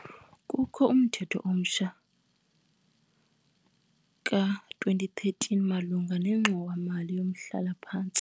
Kukho umthetho omtsha ka-2013 malunga nengxowa-mali yomhlala-phantsi.